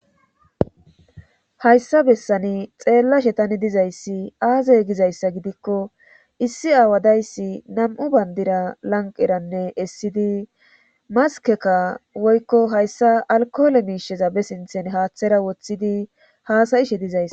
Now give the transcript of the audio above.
hayssa bessani xeellashe tani dizayssi aaze gizayssa gidikko issi aawa dayisi nam7u bandira lanqeranne essidi maskeka woykko hayssa alkoole miisheza be sinthen haaththera woththidi haasayishe dizays.